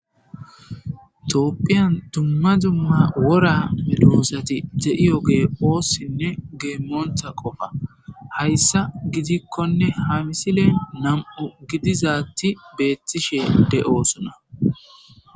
Toopphiyan dumma zumma wora me doosati deiyo ge oossinne geemmoonta qofa hayssa gidikkonne ha misile nam7u gidizaatti beettishe de7osona.